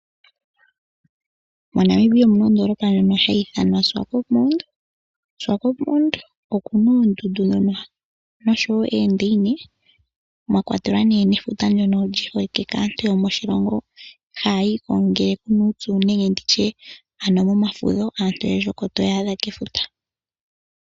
MoNamibia omuna ondoolopa ndjono hayi ithanwa Swakopmund. Swakopmund okuna oondundu dhono noshowo eedaine mwa kwatelwa nee nefuta ndyono li holike kaantu yomoshilongo haayiko ngele kuna uupyu nenge nditye ano momafudho aantu oyendji oko toya adha kefuta.